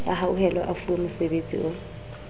a hauhelwe a fuwemosebetsi o